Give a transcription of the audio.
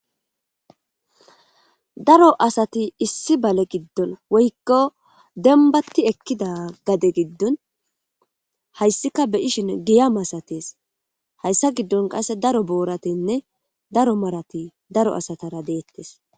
Daro asati issi bale giddon woykko dembatti ekkida gade giddon hayssika beyishin giya masatees hayssa giddon qasse daro booratinne daro marati daro asatara deettes.